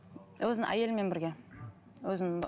өзінің әйелімен бірге өзінің